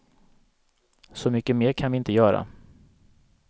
Så mycket mer kan vi inte göra.